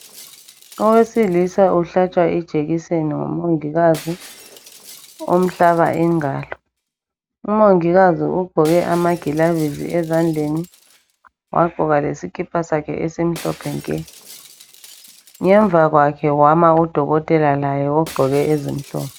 Owesilisa uhlatshwa ijekiseni ngumongikazi umhlaba ingalo umongikazi ugqoke amakilavisi ezandleni wagqoka lesikipa sakhe esimhlophe nke ngemva kwakhe kwama udokotela laye ogqoke ezimhlophe.